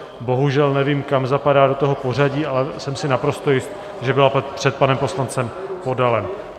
Bohužel nevím, kam zapadá do toho pořadí, ale jsem si naprosto jist, že byla před panem poslancem Podalem.